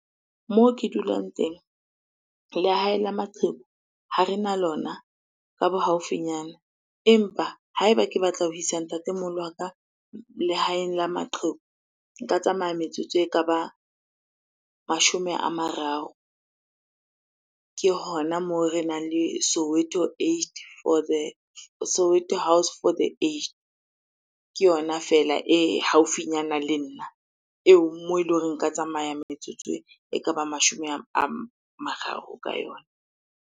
Moo ke dulang teng, lehae la maqheku ha rena lona ka bo haufinyana. Empa ha eba ke batla ho isa ntatemoholo wa ka lehaeng la maqheku, nka tsamaya metsotso e ka ba mashome a mararo. Ke hona moo renang le Soweto Aged for the, Soweto house for aged. Ke yona fela e haufinyana le nna, eo moo eleng hore nka tsamaya metsotso e ka bang mashome a mararo ka yona.